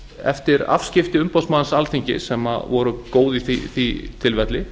eftir afskipti umboðsmanns alþingis sem voru góð í því tilfelli